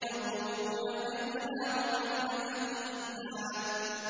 يَطُوفُونَ بَيْنَهَا وَبَيْنَ حَمِيمٍ آنٍ